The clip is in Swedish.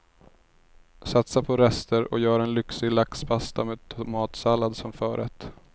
Satsa på rester och gör en lyxig laxpasta med tomatsallad som förrätt.